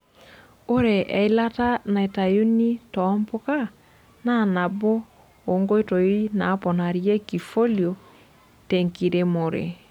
Ore eilata naitayuni too mpuka na nabo oo nkoito naaponarieki falio tenkiremore.